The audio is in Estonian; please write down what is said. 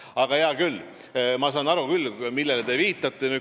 Aga hea küll, ma saan aru, millele te viitate.